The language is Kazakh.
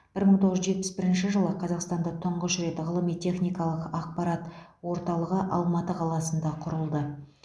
бір мың тоғыз жүз жетпіс бірінші жылы қазақстанда тұңғыш рет ғылыми техникалық ақпарат орталығы алматы қаласында құрылды